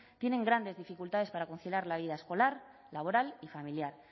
tienen grandes dificultades para conciliar la vida escolar laboral y familiar